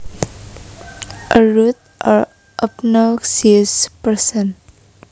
A rude or obnoxious person